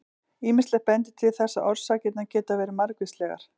Ýmislegt bendir til þess að orsakirnar geti verið margvíslegar.